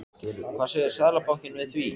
Hvað segir Seðlabankinn við því?